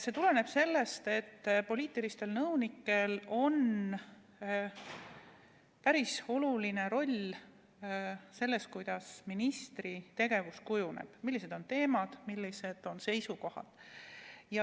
See tuleneb sellest, et poliitilistel nõunikel on päris oluline roll selles, kuidas ministri tegevus kujuneb, millised on teemad, millised on seisukohad.